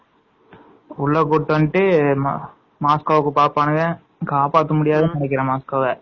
உள்ள கூப்டு வந்துட்டு மஸ்கொவ்வ பாக்குறாங்க காப்பாத்த முடியாதுனு நினைக்கிறன் மஸ்கொவ்வ